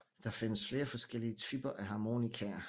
Der findes flere forskellige typer af harmonikaer